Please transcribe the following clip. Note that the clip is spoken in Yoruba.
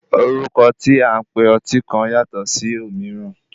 Orúkọ tí a ń pe ọtí kan yàtọ̀ ṣì òmííràn.